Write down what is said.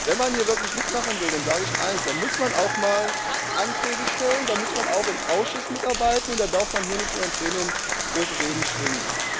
Wenn man hier wirklich mitmachen will, dann sage ich eins Dann muss man auch mal Anträge stellen, da muss man auch im Ausschuss mitarbeiten und darf hier nicht nur im Plenum große Reden schwingen.